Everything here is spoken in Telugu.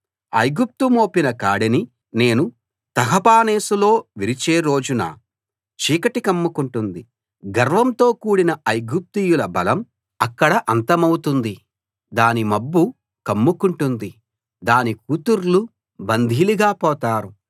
ఐగుప్తు మోపిన కాడిని నేను తహపనేసులో విరిచే రోజున చీకటి కమ్ముకుంటుంది గర్వంతో కూడిన ఐగుప్తీయుల బలం అక్కడ అంతమవుతుంది దాన్ని మబ్బు కమ్ముకుంటుంది దాని కూతుర్లు బందీలుగా పోతారు